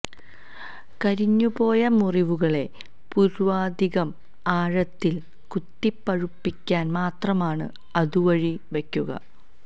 കരിഞ്ഞുപോയ മുറിവുകളെ പൂര്വാധികം ആഴത്തില് കുത്തിപ്പഴുപ്പിക്കാന് മാത്രമാണ് അതു വഴിവയ്ക്കുക